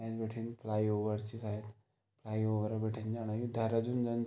ऐंच बठिन फ्लाईओवर च शायद फ्लाईओवर बेटन ज्याणा यू देहरादून जन।